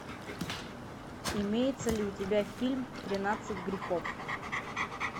имеется ли у тебя фильм тринадцать грехов